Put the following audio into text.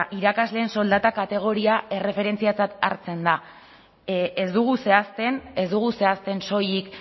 irakasleen soldatak kategoria erreferentziatzat hartzen da ez dugu zehazten ez dugu zehazten soilik